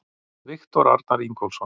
Viktor Arnar Ingólfsson